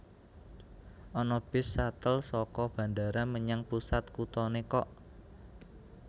Ana bis shuttle soko bandara menyang pusat kutone kok